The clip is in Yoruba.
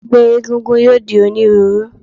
Ẹgbẹ́ egúngún yóò di onírúurú.